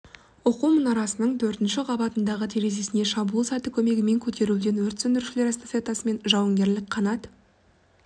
оқу мұнарасының төртінші қабатындағы терезесіне шабуыл саты көмегімен көтерілуден өрт сөндірушілер эстафетасы мен жауынгерлік қанат